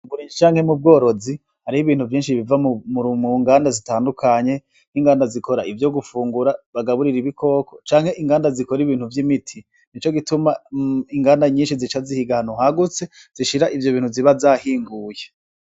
Mu burimyi canke mu bworozi hariho ibintu vyinshi biva mu nganda zitandukanye, nk'inganda zikora ivyo gufungura bagaburira ibikoko canke imiganda zikora ibintu vy'imiti. Ni ico gituma inganda nyinshi zica zihiga ahantu hagutse zishira ivyo bintu ziba zahinguye.